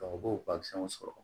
u b'o sɔrɔ